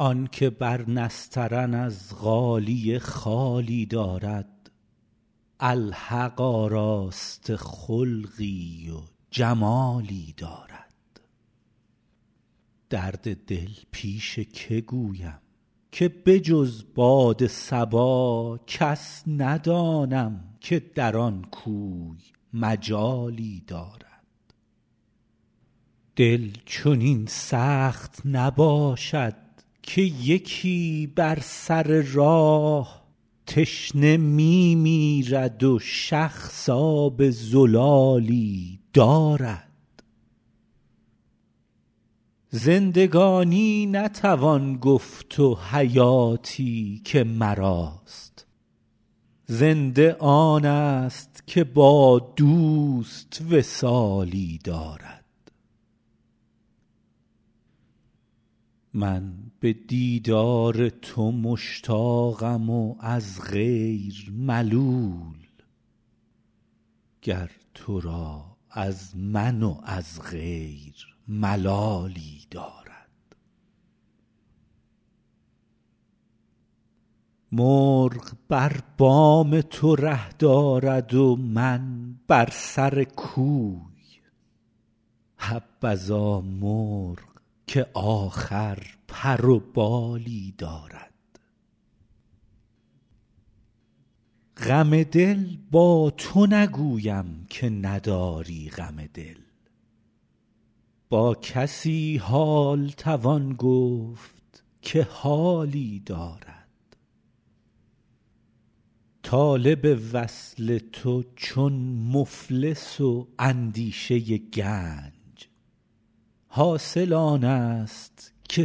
آن که بر نسترن از غالیه خالی دارد الحق آراسته خلقی و جمالی دارد درد دل پیش که گویم که به جز باد صبا کس ندانم که در آن کوی مجالی دارد دل چنین سخت نباشد که یکی بر سر راه تشنه می میرد و شخص آب زلالی دارد زندگانی نتوان گفت و حیاتی که مراست زنده آنست که با دوست وصالی دارد من به دیدار تو مشتاقم و از غیر ملول گر تو را از من و از غیر ملالی دارد مرغ بر بام تو ره دارد و من بر سر کوی حبذا مرغ که آخر پر و بالی دارد غم دل با تو نگویم که نداری غم دل با کسی حال توان گفت که حالی دارد طالب وصل تو چون مفلس و اندیشه گنج حاصل آنست که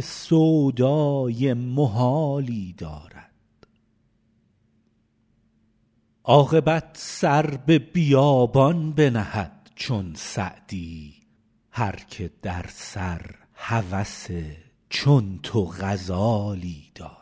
سودای محالی دارد عاقبت سر به بیابان بنهد چون سعدی هر که در سر هوس چون تو غزالی دارد